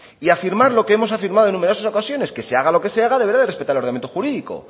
y afirmar lo que hemos afirmado en numerosas ocasiones que se haga lo que se haga deberá de respetar el ordenamiento jurídico